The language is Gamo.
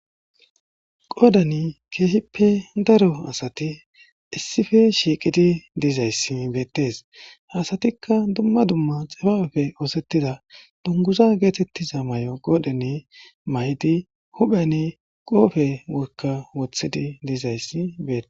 qoodani keehippe daro asati issife shiiqidi dizayssi beettes hasatikka dumma dumma xifapeppe oosettida dunguza geetettiza may7o qoodheni may7idi hupheni qoofe woykka wothidi dizayssi beete